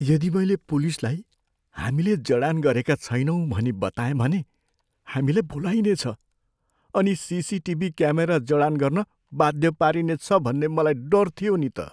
यदि मैले पुलिसलाई हामीले जडान गरेका छैनौँ भनी बताएँ भने हामीलाई बोलाइनेछ अनि सिसिटिभी क्यामेरा जडान गर्न बाध्य पारिनेछ भन्ने मलाई डर थियो नि त।